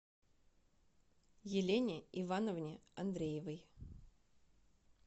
елене ивановне андреевой